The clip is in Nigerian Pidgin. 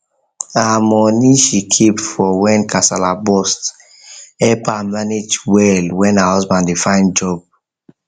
her money she keep for when kasala burst help her manage well when her husband dey find job find job